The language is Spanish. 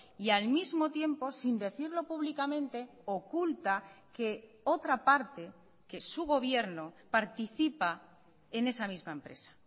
y al mismo tiempo sin decirlo públicamente oculta que otra parte que su gobierno participa en esa misma empresa